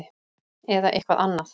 Eða eitthvað annað?